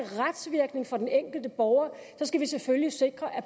retsvirkning for den enkelte borger skal vi selvfølgelig sikre at